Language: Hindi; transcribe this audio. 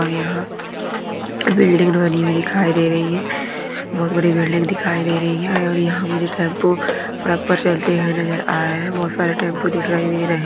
और यहाँ बिल्डिंग बनी हुई दिखाई दे रही है बहुत बड़ी बिल्डिंग दिखाई दे रही है और यहाँ मुझे टेम्पो सड़क पर चलती हुई नज़र आ रहे है बहुत सारे टेम्पो दिखाई दे रहे है।